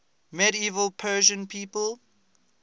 medieval persian people